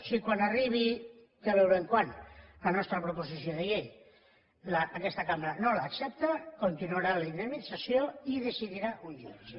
si quan arribi ja veurem quan la nostra proposició de llei aquesta cambra no l’accepta continuarà la indemnització i decidirà un jutge